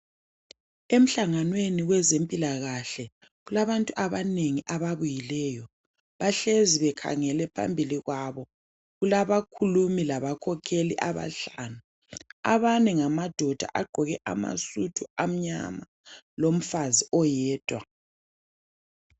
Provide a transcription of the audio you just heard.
Emhlanganweni kwezempilakahle kulabantu abanengi ababuyileyo. Bahlezi bekhangele phambili kwabo. Kulabakhulumi labakhokheli abahlanu. Abane ngamadoda. Bagqoke amasudu amnyama, lomfazi oyedwa.